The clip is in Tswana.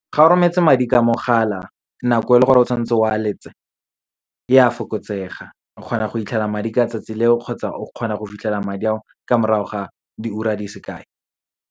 Ga o rometse madi ka mogala, nako e leng gore o tshwanetse o a e a fokotsega. O kgona go fitlhelela madi ka tsatsi leo, kgotsa o kgona go fitlhela madi ao ka morago ga diura di sekai.